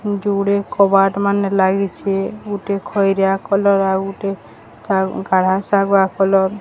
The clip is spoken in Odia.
ଯୋଡେ କବାଟମାନେ ଲାଗିଛେ। ଗୁଟେ ଖଇରିଆ କଲର୍ ଆଉ ଗୁଟେ ଶାଗ୍ କାଳିଆ ଶାଗୁଆ କଲର୍ ।